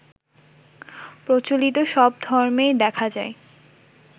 প্রচলিত সব ধর্মেই দেখা যায়